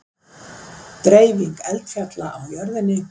Dreifing eldfjalla á jörðinni